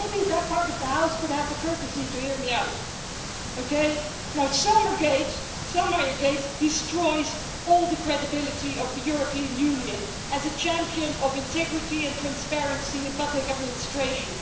Maybe that part of the House could have the courtesy to hear me out Selmayrgate destroys all the credibility of the European Union as a champion of integrity and transparency in public administration.